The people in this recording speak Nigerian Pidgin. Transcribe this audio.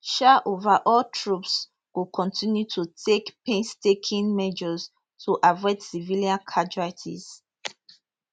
um overall troops go continue to take painstaking measures to avoid civilian casualties